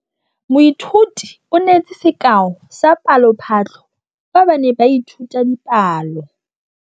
Moithuti o neetse sekaô sa palophatlo fa ba ne ba ithuta dipalo.